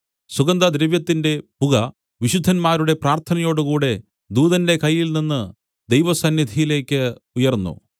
സുഗന്ധദ്രവ്യത്തിന്റെ പുക വിശുദ്ധന്മാരുടെ പ്രാർത്ഥനയോടുകൂടെ ദൂതന്റെ കയ്യിൽനിന്ന് ദൈവസന്നിധിയിലേക്ക് ഉയർന്നു